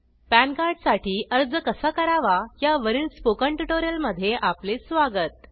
PAN card साठी अर्ज कसा करावा या वरील स्पोकन ट्युटोरियल मध्ये आपले स्वागत